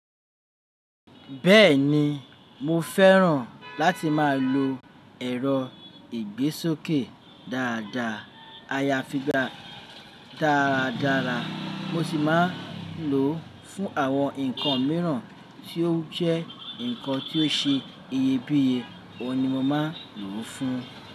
Bẹ́ẹ̀ni mo fẹ́ràn láti máa lo ẹ̀rọ ìgbésókè dáadáa, ayafigba dáradára mo sì máa lò ó fún àwọn nǹkan mìíràn tí ó jẹ́ nǹkan tí ó ṣe iyebíye, òun ni mo máa lò ó fún.